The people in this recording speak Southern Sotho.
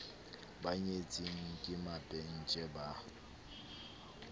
ba nyetseng ke mampetje ba